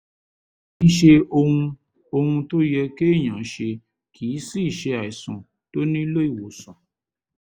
kìí ṣe ohun ohun tó yẹ kéèyàn ṣe kìí sìí ṣe àìsàn tó nílò ìwòsàn